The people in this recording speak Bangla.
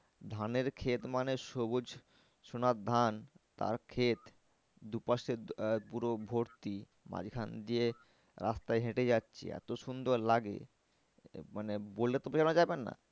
ধানের খেত মানে সবুজ সোনার ধান তার খেত দু পাশে আহ পুরো ভর্তি মাঝখান দিয়ে রাস্তায় হেঁটে যাচ্ছি এত সুন্দর লাগে মানে বলে তো বোঝানো যাবে না